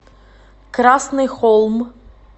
красный холм